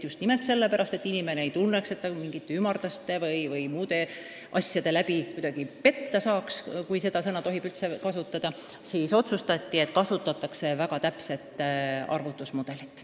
Just nimelt sellepärast, et inimene ei tunneks, et ta mingite ümarduste või muude asjaolude tõttu kuidagi petta saaks – kui seda sõna üldse tohib kasutada –, otsustati, et kasutatakse väga täpse arvutuse mudelit.